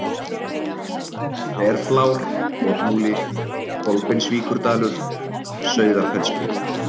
Þverflár, Kotmúli, Kolbeinsvíkurdalur, Sauðafellsbrík